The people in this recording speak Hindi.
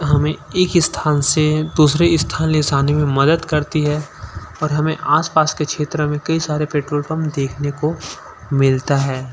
हमें एक स्थान से दूसरे स्थान ले जाने में मदद करती है और हमें आसपास के क्षेत्र में कई सारे पेट्रोल पंप देखने को मिलता है।